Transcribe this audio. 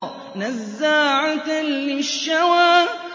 نَزَّاعَةً لِّلشَّوَىٰ